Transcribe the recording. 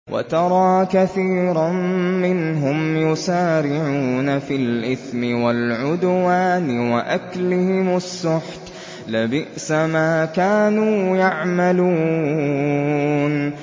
وَتَرَىٰ كَثِيرًا مِّنْهُمْ يُسَارِعُونَ فِي الْإِثْمِ وَالْعُدْوَانِ وَأَكْلِهِمُ السُّحْتَ ۚ لَبِئْسَ مَا كَانُوا يَعْمَلُونَ